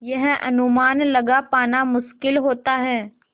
यह अनुमान लगा पाना मुश्किल होता है